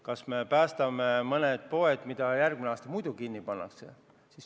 Kas me päästame mõned poed, mis järgmine aasta muidu kinni pandaks?